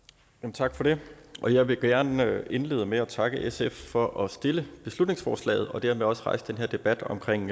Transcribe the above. tak for det jeg vil gerne indlede med at takke sf for at stille beslutningsforslaget og dermed også for at rejse den her debat omkring